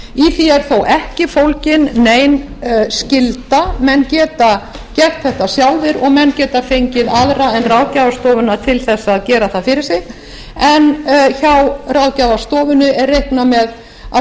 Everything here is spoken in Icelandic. er þó ekki fólgin nein skylda menn geta gert þetta sjálfir og menn geta fengið aðra en ráðgjafarstofuna til þess að gera það fyrir sig en hjá ráðgjafarstofunni er reiknað með að